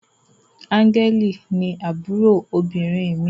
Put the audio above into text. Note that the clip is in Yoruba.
Angel ni àbúrò obìnrin mí.